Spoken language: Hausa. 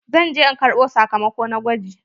Zan ze in karɓo sakamako na gwaji.